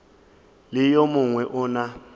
le yo mongwe o na